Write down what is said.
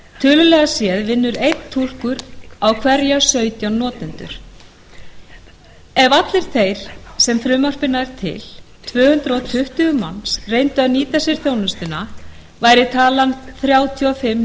tölulega séð vinnur einn túlkur á hverja sautján notendur ef allir þeir sem frumvarpið nær til tvö hundruð tuttugu manns reyndu að nýta sér þjónustuna væri talan þrjátíu og fimm